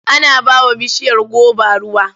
Ana ba wa bishiyar goba ruwa.